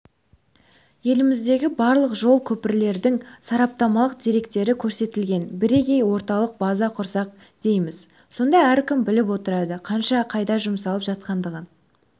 еліміздегі барлық жол көпірлердің сараптамалық деректері көрсетілген біргей орталық база құрсақ дейміз сонда әркім біліп отырады қанша қайда жұмсалып жатқандығын